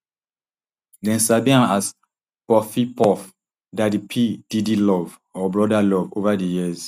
dem sabi am as puffy puff daddy p diddy love or brother love ova di years